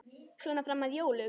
Svona fram að jólum.